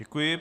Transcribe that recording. Děkuji.